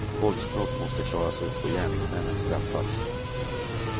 Våldsbrott måste klaras upp och gärningsmännen straffas.